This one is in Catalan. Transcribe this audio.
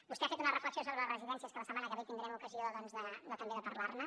vostè ha fet una reflexió sobre les residències que la setmana que ve tindrem ocasió de parlar ne